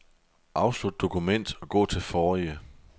Afslut dokument og gå til forrige.